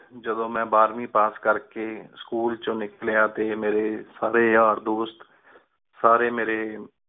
ਜਿਦੋਂ ਬਾਰਵੀ ਪਾਸ ਕਰ ਕ ਸਕੂਲ ਏਚੋੰ ਨਿਕ੍ਲ੍ਯਾ ਟੀ ਮੇਰੀ ਸਾਰੇ ਯਾਰ ਦੋਸਤ ਸਾਰੇ ਮੇਰੀ